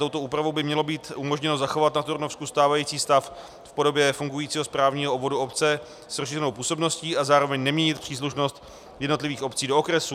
Touto úpravou by mělo být umožněno zachovat na Turnovsku stávající stav v podobě fungujícího správního obvodu obce s rozšířenou působností a zároveň neměnit příslušnost jednotlivých obcí do okresů.